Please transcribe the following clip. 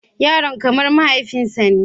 Yaron kamar mahaifinsa ne.